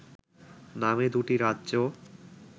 নামে দুটি রাজ্য